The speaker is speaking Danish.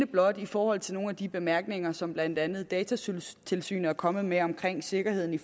blot i forhold til nogle af de bemærkninger som blandt andet datatilsynet er kommet med omkring sikkerheden i